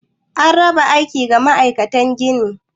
Ana raba aiki ga ma'aikatan ginin.